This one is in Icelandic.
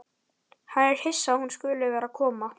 Hann er hissa að hún skuli vera að koma.